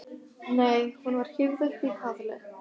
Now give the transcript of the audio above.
Nei hún var hífð upp í kaðli.